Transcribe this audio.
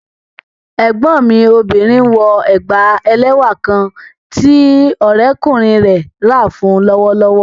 Ẹgbọn mi obìnrin nwọ ègbá èlẹ́wà kán tí òrẹ̀kúnrin rẹ̀ rá fún u lọ́wọ̀lọ́wọ̀